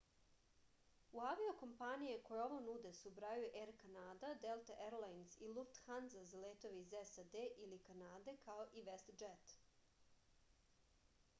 u avio-kompanije koje ovo nude se ubrajaju er kanada delta erlajnz i lufthanza za letove iz sad ili kanade kao i vestdžet